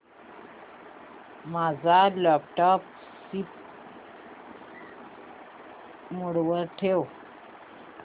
माझा laptop sleep mode वर ठेव